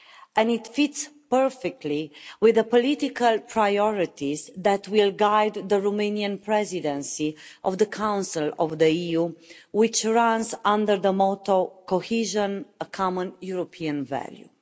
And it fits perfectly with the political priorities that will guide the Romanian Presidency of the Council of the EU which runs under the motto Cohesion a common European value'.